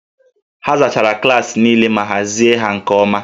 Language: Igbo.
A zachara klaasị niile ma hazie ha nke ọma